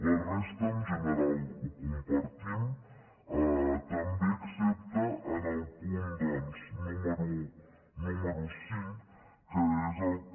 la resta en general la compartim també excepte en el punt doncs número cinc que és el que